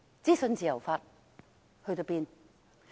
資訊自由法到哪裏去了？